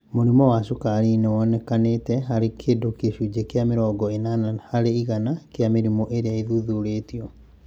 Mũrimũ wa Merkel cell polyomavirus nĩ wonekete harĩ kĩndũ gĩcunjĩ kĩa mĩrongo ĩnana harĩ ĩgana kĩa mĩrimũ ĩrĩa ĩthuthurĩtio.